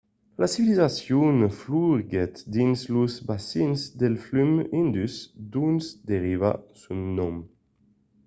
la civilizacion floriguèt dins los bacins del flum indus d'ont deriva son nom